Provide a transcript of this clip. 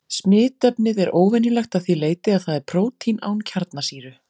Smitefnið er óvenjulegt að því leyti að það er prótín án kjarnasýru.